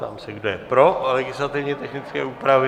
Ptám se, kdo je pro legislativně technické úpravy.